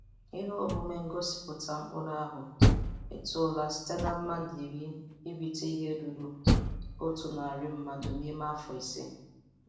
Ihe omume ngosịpụta mkpụrụ ahụ etola site na mmadụ iri irute ihe ruru otu narị mmadụ n'ime afọ ise.